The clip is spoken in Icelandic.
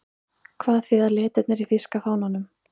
Hvað þýða litirnir í þýska fánanum?